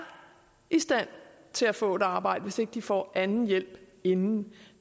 i stand til at få et arbejde hvis ikke de får anden hjælp inden